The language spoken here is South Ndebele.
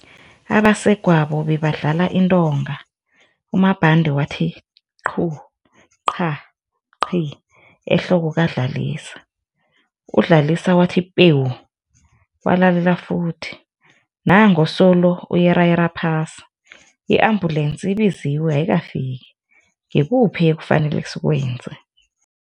Abasegwabo bebadlala intonga uMabhande wathi, qhu, qha, qhi, ehloko kaDlalisa, uDlalisa wathi pewu, walalela futhi, nangu solo uyerayera phasi, i-ambulensi ibiziwe ayikafiki. Ngikuphi esifanele sikwenze?